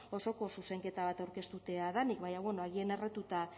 osoko zuzenketa bat aurkeztutea denik baina agian erratuta